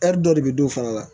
dɔ de bɛ don o fana na